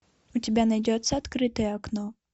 у тебя найдется открытое окно